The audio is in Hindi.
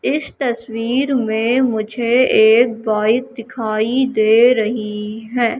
इस तस्वीर में मुझे एक बाइक दिखाई दे रही है।